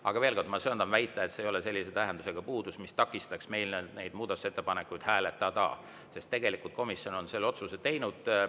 Aga veel kord: ma söandan väita, et see ei ole sellise tähendusega puudus, mis takistaks meil neid muudatusettepanekuid hääletada, sest tegelikult komisjon on selle otsuse teinud.